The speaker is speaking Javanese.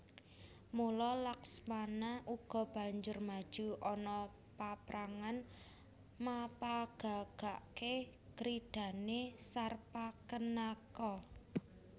Mula Laksmana uga banjur maju ana paprangan mapagagaké kridhané Sarpakenaka